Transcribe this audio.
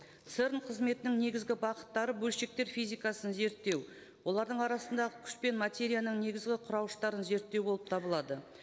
церн қызметінің негізгі бағыттары бөлшектік физикасын зерттеу олардың арасындағы күш пен материяның негізгі құрауыштарын зерттеу болып табылады